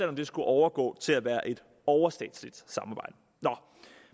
om det skulle overgå til at være et overstatsligt samarbejde nå